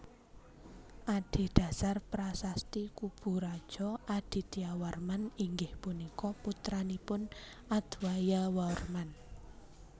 Adhedhasar Prasasti Kuburajo Adityawarman inggih punika putranipun Adwayawarman